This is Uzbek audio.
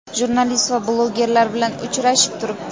jurnalist va blogerlar bilan uchrashib turibdi.